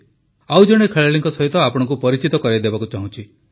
ଆଉ ଜଣେ ଖେଳାଳିଙ୍କ ସହିତ ଆପଣଙ୍କୁ ପରିଚିତ କରାଇବାକୁ ଚାହୁଁଛି